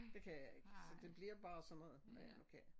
Det kan je ikke så det bliver bare sådan noget hvad jeg nu kan